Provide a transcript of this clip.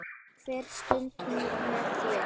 Hver stund með þér.